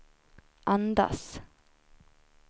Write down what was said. andas